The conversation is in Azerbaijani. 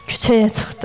Küçəyə çıxdı.